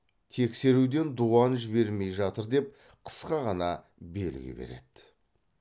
тексеруден дуан жібермей жатыр деп қысқа ғана белгі береді